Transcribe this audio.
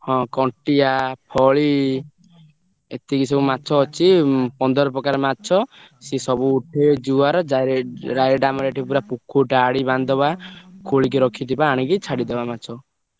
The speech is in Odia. ହଁ କଣ୍ଟିଆ ଫଳି ଏତିକି ସବୁ ମାଛ ଅଛି ପନ୍ଦର ପ୍ରକାର ମାଛ, ସେ ସବୁ ଉଠେ ଜୁଆର direct ଆମର ଏଠି ପୁରା ଡାଳି ବାନ୍ଧି ଦବା ଖୋଳିକି ରଖିଦବା ଆଣିକି ଛାଡିଦବା ମାଛ।